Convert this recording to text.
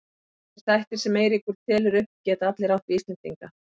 Þessir þættir sem Eiríkur telur upp geta allir átt við Íslendinga.